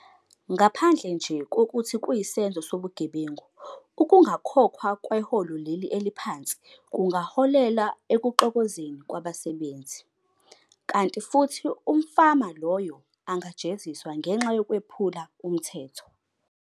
Ngaphandle nje kokuthi kuyisenzo sobugebengu, ukungakhokhwa kweholo leli eliphansi, kungaholela ekuxokozeni kwabasebenzi, kanti futhi umfama lowo angajeziswa ngenxa yokwephula umthetho.